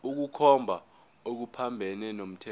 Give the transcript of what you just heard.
ukukhomba okuphambene nomthetho